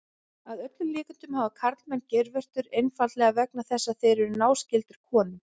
Að öllum líkindum hafa karlmenn geirvörtur einfaldlega vegna þess að þeir eru náskyldir konum.